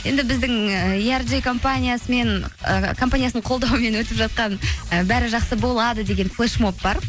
енді біздің і ы компаниясының қолдауымен өтіп жатқан ы бәрі жақсы болады деген флешмоб бар